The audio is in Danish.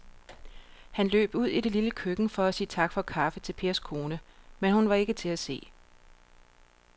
Han løb ud i det lille køkken for at sige tak for kaffe til Pers kone, men hun var ikke til at se.